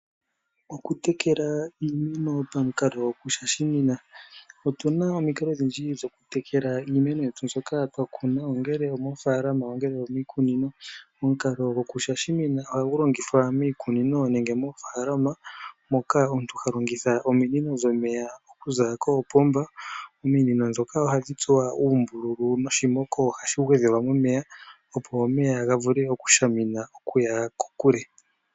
Oku tekela iimeno pamukalo gwokushashimina. Otuna omikalo odhindji dhoku tekela iimeno yetu mbyoka twakuna ongele omofalama nenge omikunino. Omukalo gwokushashimina ohagu longithwa miikunino nenge moofalama moka omuntu ha longitha ominino dhomeya okuza koopomba, ominono dhoka ohadhi tsuwa uumbululu noshimoko ohashi gwedhelwa momenya opo omeya ga vule okushamina nokuya kokule.